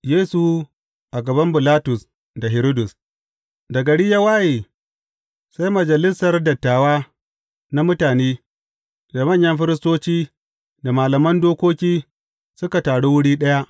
Yesu a gaban Bilatus da Hiridus Da gari ya waye, sai majalisar dattawa na mutane, da manyan firistoci, da malaman dokoki, suka taru wuri ɗaya.